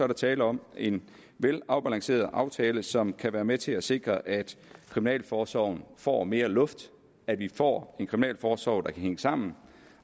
der tale om en velafbalanceret aftale som kan være med til at sikre at kriminalforsorgen får mere luft at vi får en kriminalforsorg der kan hænge sammen